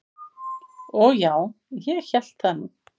"""Og já, ég hélt það nú."""